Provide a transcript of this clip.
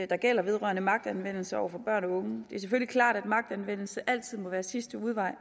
der gælder vedrørende magtanvendelse over for børn og unge det er selvfølgelig klart at magtanvendelse altid må være sidste udvej